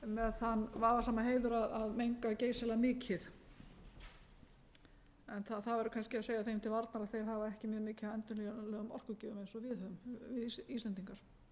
þann vafasama heiður að menga geysilega mikið en það verður kannski að segja þeim til varnar að þeir hafa ekki mjög mikið af endurnýjanlegum orkugjöfum eins og við höfum við íslendingar